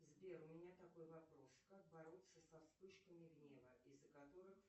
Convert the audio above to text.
сбер у меня такой вопрос как бороться со вспышками гнева из за которых